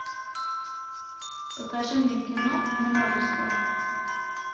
покажи мне кино множество